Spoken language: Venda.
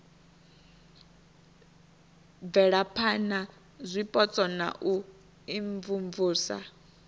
bvelaphana zwipotso na u imvumvusa